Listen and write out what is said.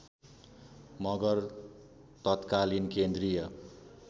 मगर तत्कालीन केन्द्रीय